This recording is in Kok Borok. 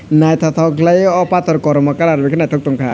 naitotok kelai oe o pator kormo colour ke naitok tong kha.